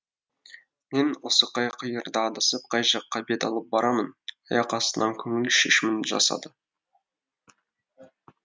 мен осы қай қиырда адасып қай жаққа бет алып барамын аяқ астынан көңіл шешімін жасады